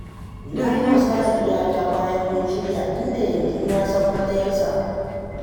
Na yi wa Sale iyaka bayan mun shirya, inda yanzu ya san matsayarsa